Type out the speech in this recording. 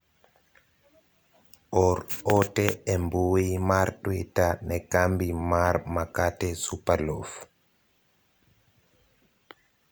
or ote e mbui mar twita ne kambi mar makate supalof